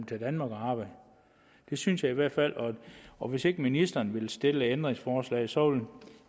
til danmark og arbejde det synes jeg i hvert fald og hvis ikke ministeren vil stille et ændringsforslag så vil